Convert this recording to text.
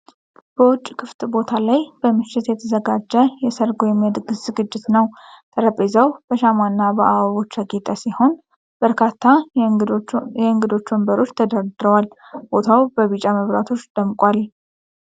በውጭ ክፍት ቦታ ላይ በምሽት የተዘጋጀ የሰርግ ወይም የድግስ ዝግጅት ነው። ጠረጴዛው በሻማና በአበቦች ያጌጠ ሲሆን፣ በርካታ የእንግዶች ወንበሮች ተደርድረዋል። ቦታው በቢጫ መብራቶች ደምቋል።